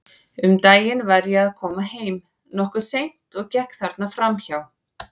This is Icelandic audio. Um daginn var ég að koma heim, nokkuð seint, og gekk þarna fram hjá.